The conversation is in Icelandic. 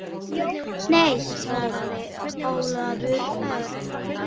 Nei svaraði Ólafur Örn.